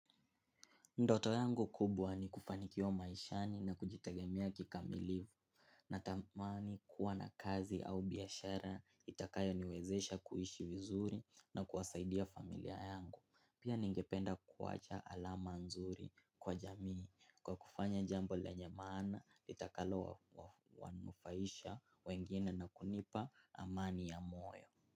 Ndoto yangu kubwa ni kufanikiwa maishani na kujitaegemea kikamilivu na tamani kuwa na kazi au biashara itakayo niwezesha kuishi vizuri na kuwasaidia familia yangu. Pia ningependa kuwacha alama nzuri kwa jamii kwa kufanya jambo lenye maana itakalo wanufaisha wengine na kunipa amani ya moyo.